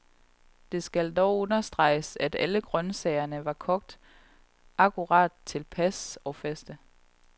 Det skal dog understreges, at alle grøntsagerne var kogt akkurat tilpas og faste.